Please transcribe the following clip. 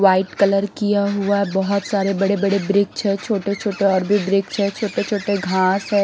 White colour किया हुआ बहोत सारे बड़े-बड़े वृक्ष है छोटे-छोटे और भी वृक्ष है छोटे-छोटे घास है।